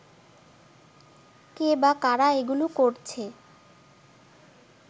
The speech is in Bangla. কে বা কারা এগুলো করছে